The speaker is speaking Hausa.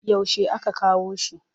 Yaushe aka kawo shi?